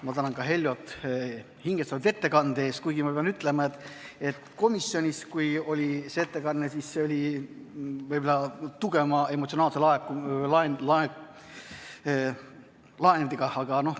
Ma tänan Heljot hingestatud ettekande eest, kuigi ma pean ütlema, et komisjonis oli see ettekanne võib-olla tugevama emotsionaalse laenguga.